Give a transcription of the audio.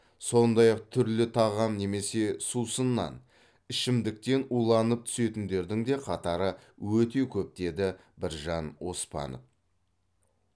сондай ақ түрлі тағам немесе сусыннан ішімдіктен уланып түсетіндердің де қатары өте көп деді біржан оспанов